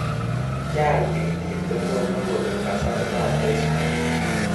Kyaal tikitit kotomo kobek kasartap besbol.